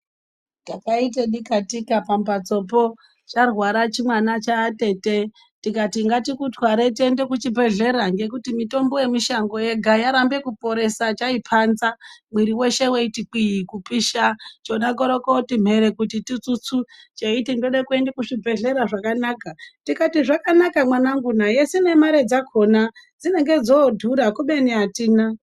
Takaite dikatika pambatsopo charwara chimwana chaatete tikati ngatikutware tiende kuchibhedhlera ngekuti mitombo yemushango yega yarambe kuporesa chaipanza mwiri weshe weitikwii kupisha , chona korokoti mhere kuti tutsutsu cheiti ndode kuende kuchibhedhlera zvakanaka tikati zvakanaka mwananguna esi nemare dzakona dzinenge dzodhura kubeni atina.